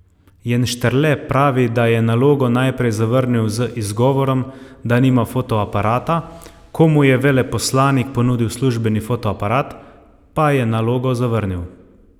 Jenštrle pravi, da je nalogo najprej zavrnil z izgovorom, da nima fotoaparata, ko mu je veleposlanik ponudil službeni fotoaparat, pa je nalogo zavrnil.